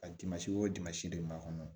A dimansi o dimansi de b'a kɔnɔ